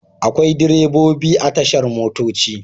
Akwai direbobi a tashar motoci.